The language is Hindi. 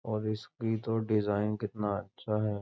और इसकी तो डिजाईन कितना अच्छा है।